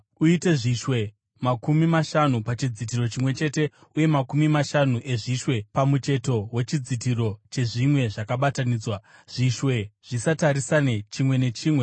Uite zvishwe makumi mashanu pachidzitiro chimwe chete uye makumi mashanu ezvishwe pamucheto wechidzitiro chezvimwe zvakabatanidzwa, zvishwe zvitarisane chimwe nechimwe.